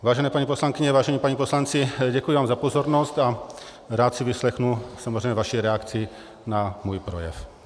Vážené paní poslankyně, vážení páni poslanci, děkuji vám za pozornost a rád si vyslechnu samozřejmě vaši reakci na svůj projev.